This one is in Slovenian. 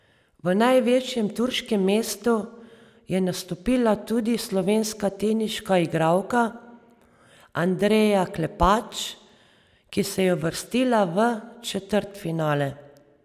V največjem turškem mestu je nastopila tudi slovenska teniška igralka Andreja Klepač, ki se je uvrstila v četrtfinale.